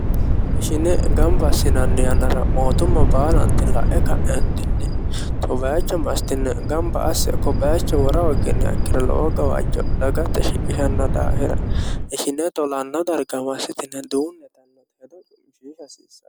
ishine gamba assinanni yannara mootumma baalanti la'e ka'eentinni kobayicho masitine gamba asse kobayecho wora hogginiha ikkiro lowo gawaajjo dagate shiqishanno daafira ishine tolanno darga massitine duunne yitannota hedo cu'mishiisha hasiissanno.